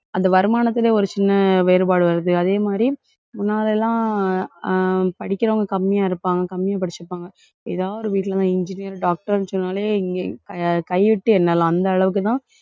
அந்த வருமானத்திலே ஒரு சின்ன வேறுபாடு வருது. அதே மாதிரி, முன்னாலே எல்லாம் அஹ் படிக்கிறவங்க கம்மியா இருப்பாங்க, கம்மியா படிச்சிருப்பாங்க. ஏதாவது ஒரு வீட்டிலேதான் engineer, doctor ன்னு சொன்னாலே இங்கே கைவிட்டு எண்ணலாம். அந்த அளவுக்குத்தான்,